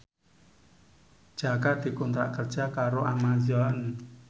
Jaka dikontrak kerja karo Amazon